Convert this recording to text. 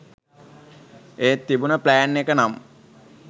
ඒත් තිබුණ ප්ලෑන් එක නම්